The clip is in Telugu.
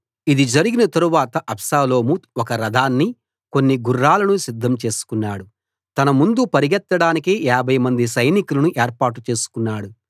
ఇది జరిగిన తరువాత అబ్షాలోము ఒక రథాన్ని కొన్ని గుర్రాలను సిద్దం చేసుకున్నాడు తన ముందు పరుగెత్తడానికి ఏభైమంది సైనికులను ఏర్పాటు చేసుకున్నాడు